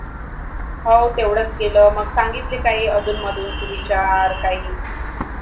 हवं तेढच केले मग सांगितलं काही अधून मधून एकही विचार काही